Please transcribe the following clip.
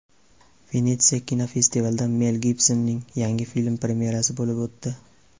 Venetsiya kinofestivalida Mel Gibsonning yangi filmi premyerasi bo‘lib o‘tdi.